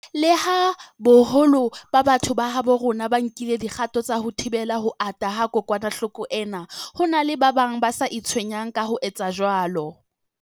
Leha boholo ba batho ba habo rona ba nkile dikgato tsa ho thibela ho ata ha kokwanahloko ena, ho na le ba bang ba sa itshwenyang ka ho etsa jwalo.